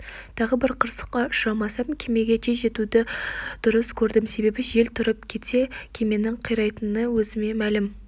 тағы бір қырсыққа ұшырамасам кемеге тез жетуді дұрыс көрдім себебі жел тұрып кетсе кеменің қирайтыны өзіме мәлім